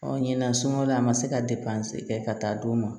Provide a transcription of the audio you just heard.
Ɔ ɲinan sunɔgɔ la a ma se ka kɛ ka taa d'u ma